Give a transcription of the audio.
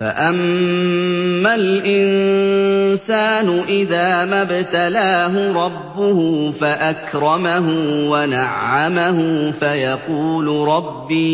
فَأَمَّا الْإِنسَانُ إِذَا مَا ابْتَلَاهُ رَبُّهُ فَأَكْرَمَهُ وَنَعَّمَهُ فَيَقُولُ رَبِّي